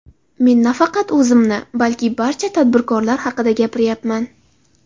Men nafaqat o‘zimni, balki barcha tadbirkorlar haqida gapiryapman.